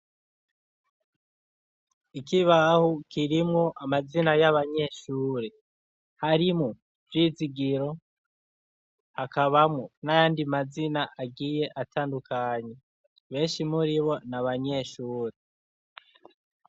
Ikibaho kirimwo amazina y'abanyeshure, harimwo vyizigiro hakabamwo n'andi mazina agiye atandukanye benshi muribo na abanyeshure.